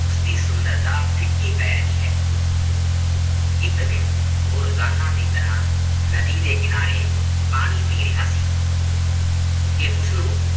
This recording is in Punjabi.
ਉਸਦੀ ਸੁੰਦਰਤਾ ਫਿਕੀ ਪੈ ਰਹੀ ਹੈ ਇੱਕ ਦਿਨ ਉਹ ਰੋਜ਼ਾਨਾ ਦੀ ਤਰ੍ਹਾਂ ਨਦੀ ਦੇ ਕਿਨਾਰੇ ਪਾਣੀ ਪੀ ਰਿਹਾ ਸੀ ਕਿ ਉਸਨੂੰ